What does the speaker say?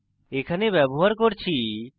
এখানে ব্যবহার করছি